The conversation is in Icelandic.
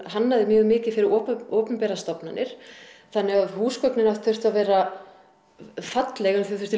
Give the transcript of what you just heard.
hannaði mikið fyrir opinberar stofnanir þannig að húsgögnin hans þurftu að vera falleg en þau þurftu